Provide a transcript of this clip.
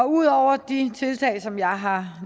ud over de tiltag som jeg har